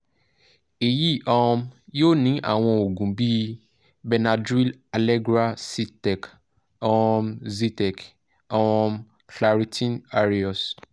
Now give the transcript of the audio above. èyí um yóò ní àwọn òògùn bíi benadryl allegra zyrtec um zyrtec um claritin aerius